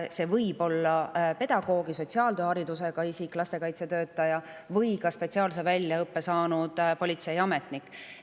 See võib olla pedagoogi või sotsiaaltöö haridusega isik, lastekaitsetöötaja või ka spetsiaalse väljaõppe saanud politseiametnik.